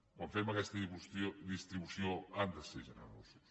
quan fem aquesta distribució han de ser generosos